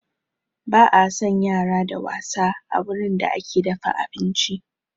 Ba a san yara da wasa a wurin da ake dafa abinci